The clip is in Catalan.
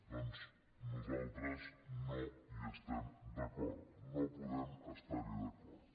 doncs nosaltres no hi estem d’acord no podem estar hi d’acord